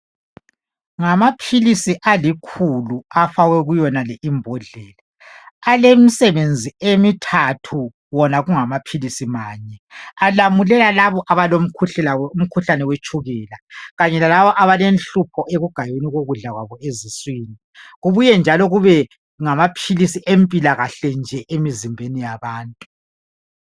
Ngamaphilisi alikhulu afakwe kuyonale imbodlela, alemisebenzi emithathu wona kungamaphilisi manye alamulela laba abalomukhuhlane wetshukela kanye lalabo abalenhlupho lokugayeka kokudla kwabo eziswini. Kubuye njalo kube ngamaphilisi empilakahle emizimbeni yabantu.